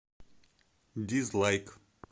дизлайк